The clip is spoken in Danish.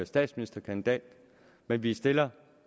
statsministerkandidat men vi stiller